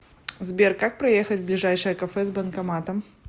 сбер как проехать в ближайшее кафе с банкоматом